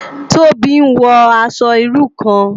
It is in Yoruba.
Tobi n wò aṣò irú kán